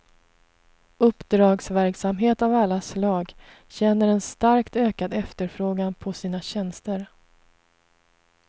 Uppdragsverksamhet av alla slag känner en starkt ökad efterfrågan på sina tjänster.